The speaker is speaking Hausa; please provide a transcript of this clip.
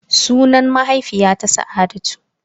Sunan mahaifiyata Sa'adatu.